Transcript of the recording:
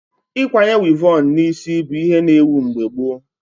Ịkwanye wivon na isi bụ ihe na ewu mgbe gboo